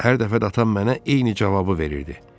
Hər dəfə də atam mənə eyni cavabı verirdi.